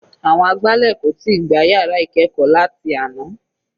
Àwọn agbálẹ̀ kò tíì gbá yàrá ìkẹ́ẹ̀kọ́ láti àná.